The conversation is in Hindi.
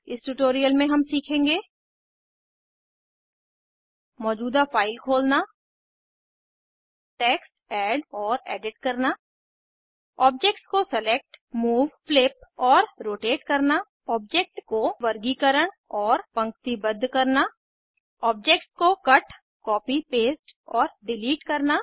इस ट्यूटोरियल में हम सीखेंगे मौजूदा फाइल खोलना टेक्स्ट ऐड और एडिट करना ऑब्जेक्ट्स को सेलेक्ट मूव फ्लिप और रोटेट करना ऑब्जेक्ट को वर्गीकरण और पंक्तिबद्ध करना ऑब्जेक्ट्स को कट कॉपी पेस्ट और डिलीट करना